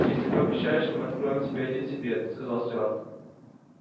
если пообещаешь мы откроем тебе один секрет сказал стюарт